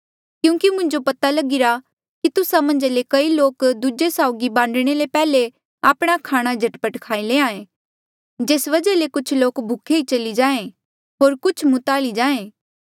क्यूंकि मुंजो पता लगिरा की तुस्सा मन्झ ले कई लोक दूजे साउगी बांडणे ले पैहले आपणा खाणा झटपट खाई लैंहां ऐें जेस वजहा ले कुछ लोक भूखे ही चली जाहें होर कुछ मुताली जाहें